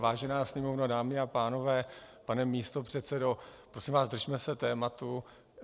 Vážená Sněmovno, dámy a pánové, pane místopředsedo, prosím vás, držme se tématu.